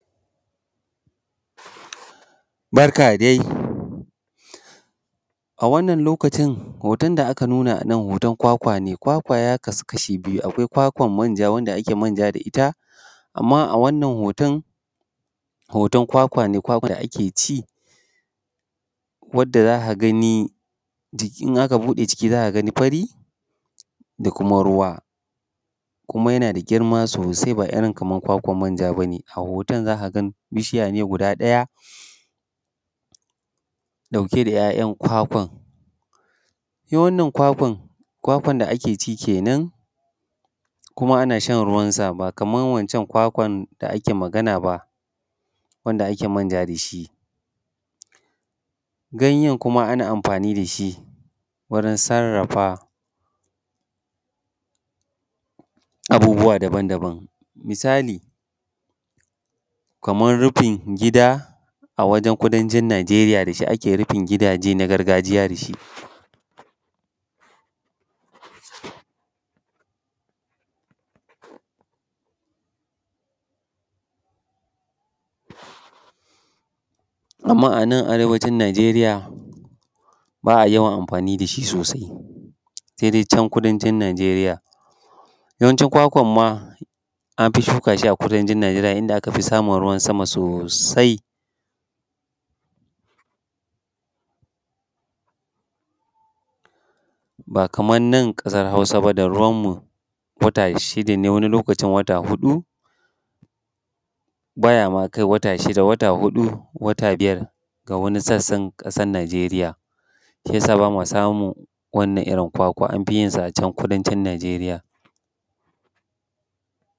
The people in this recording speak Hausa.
Barka dai, a wannan lokacin hoton da aka nuna an an hoton kwakwa ne. Kwakwan ya kasu kashi biyu, akwai kwakwan manja wanda ake manja da ita. Amma a wannan hoton, hoton kwakwa ne, kwakwan da ake ci wanda za ka gani in aka ɓuɗe ciki za ka gani fari da kuma ruwa, kuma yana da girma sosai ba irin kaman kwakwan manja bane. A hoton za ka ga bishiya ne guda ɗaya ɗauke da ‘ya’yan kwakwan ita wannan kwakwan, kwakwan da Ake ci kenan kuma ana shan ruwansa ba kaman waccan kwakwan da ake magana ba wanda ake manja da shi. Ganyan kuma ana amfani da shi wurin sarrafa abubuwa daban daban, misali kaman rufin gida a wajan kudancin Najeriya da shi ake rufin gidaje na gargajiya da shi. Amma a nan arewacin Najeriya ba a yawan amfani da shi sosai sai dai can kudancin Najeriya. Yawanci kwakwan ma an fi shuka shi a kudancin Najeriya inda aka fi samun ruwan sama sosai, ba kaman nan ƙasan hausa ba da ruwan mu wata shida ne, wani lokacin wata huɗu ba ya ma kai wata shida. Wata huɗu, wata biyar ga wani sassan ƙasan Najeriya. Shi ya sa ba ma samun wannan irin kwakwan, an fi yinsa can kudancin Najeriya.